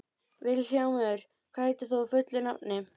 Vilhjálmur, hvað heitir þú fullu nafni?